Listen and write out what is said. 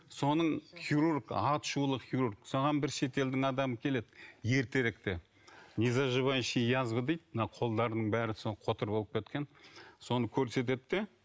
соның хирург аты шулы хирург соған бір шетелдің адамы келеді ертеректе незаживающая язва дейді мына қолдарының бәрі қотыр болып кеткен соны көрсетеді де